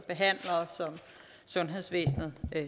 sundhedsvæsenet